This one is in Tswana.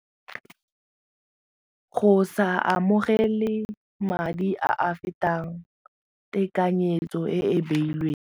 Go sa amogele madi a a fetang tekanyetso e e beilweng.